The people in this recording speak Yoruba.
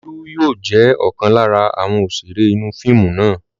Olú yóò jẹ́ ọ̀kan lára àwọn òṣèré inú fíìmù náà.